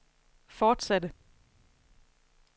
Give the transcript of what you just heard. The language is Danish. fortsatte